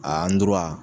A